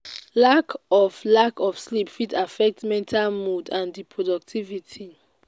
lack of lack of sleep fit affect health mood and di productivity.